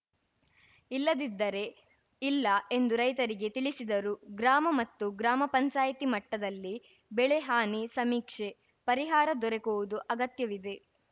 ಇಲ್ಲದಿದ್ದರೆ ಇಲ್ಲ ಎಂದು ರೈತರಿಗೆ ತಿಳಿಸಿದರು ಗ್ರಾಮ ಮತ್ತು ಗ್ರಾಮ ಪಂಚಾಯಿತಿ ಮಟ್ಟದಲ್ಲಿ ಬೆಳೆ ಹಾನಿ ಸಮೀಕ್ಷೆ ಪರಿಹಾರ ದೊರಕುವುದು ಅಗತ್ಯವಿದೆ